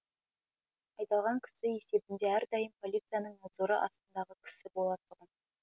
айдалған кісі есебінде әрдайым полицияның надзоры астындағы кісі болатұғым